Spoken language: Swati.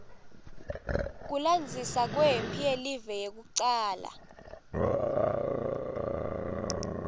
kulandzisa kwemphi yelive yekucala